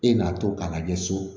E n'a to k'a lajɛ so